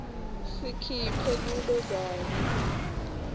sikhiphe kube kanye